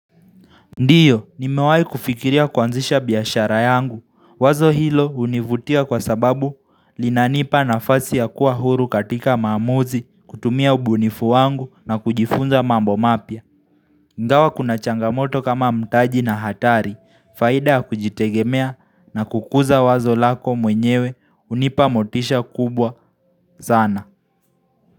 Ndiyo, ni mewai kufikiria kwanzisha biashara yangu. Wazo hilo univutia kwa sababu linanipa nafasi ya kuwa huru katika maamuzi, kutumia ubunifu wangu na kujifunza mambo mapya. Ingawa kuna changamoto kama mtaji na hatari, faida ya kujitegemea na kukuza wazo lako mwenyewe unipa motisha kubwa sana.